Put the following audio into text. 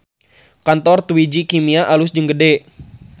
Kantor Twiji Kimia alus jeung gede